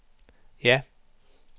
ja